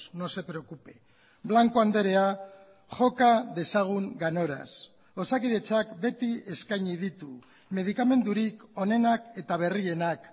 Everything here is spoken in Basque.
no se preocupe blanco andrea joka dezagun ganoraz osakidetzak beti eskaini ditu medikamendurik onenak eta berrienak